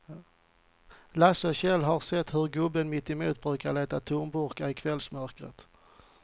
Lasse och Kjell har sett hur gubben mittemot brukar leta tomburkar i kvällsmörkret.